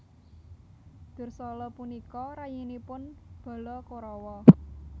Dursala punika rayinipun bala Korawa